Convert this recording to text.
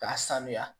K'a sanuya